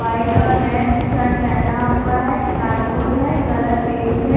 White और red shirt पहना हुआ है कार्डबोर्ड है कलर पिंक है।